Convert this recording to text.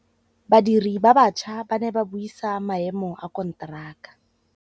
Badiri ba baša ba ne ba buisa maêmô a konteraka.